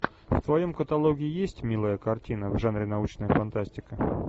в твоем каталоге есть милая картина в жанре научная фантастика